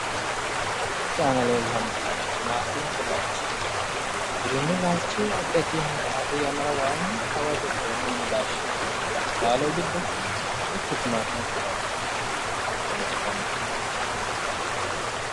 Misilete aana leellannohu timaatimete laalchi giwirinnu laalchi addi addi yannara arri yannara woyi hawadi xeenunni laashshinanni laalo giddo mittu timaatimete laalchooti.